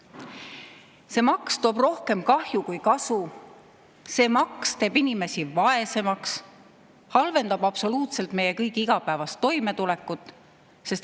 See maks toob rohkem kahju kui kasu, see maks teeb inimesi vaesemaks, halvendab absoluutselt meie kõigi igapäevast toimetulekut.